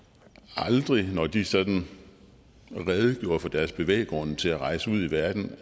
aldrig når de sådan redegjorde for deres bevæggrunde til at rejse ud i verden